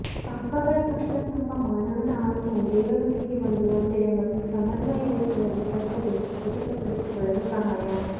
ಪಾಪಗಳ ಪಶ್ಚಾತ್ತಾಪ ಮಾನವನ ಆತ್ಮವು ದೇವರೊಂದಿಗೆ ಒಂದು ಒಂದೆಡೆ ಮತ್ತು ಸಮನ್ವಯ ವೆಚ್ಚದಲ್ಲಿ ಸ್ವಚ್ಛಗೊಳಿಸಿ ಖಚಿತಪಡಿಸಿಕೊಳ್ಳಲು ಸಹಾಯ